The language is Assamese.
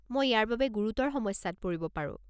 মই ইয়াৰ বাবে গুৰুতৰ সমস্যাত পৰিব পাৰো।